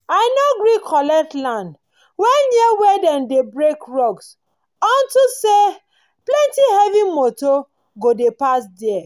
i nor gree collect land wen near place wen dem dey dem dey break rocks unto say plenti heavy moto go dey pass der